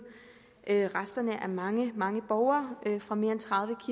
resterne af mange mange borgere fra mere